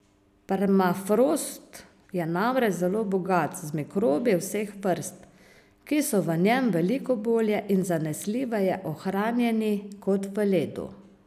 Permafrost je namreč zelo bogat z mikrobi vseh vrst, ki so v njem veliko bolje in zanesljiveje ohranjeni kot v ledu.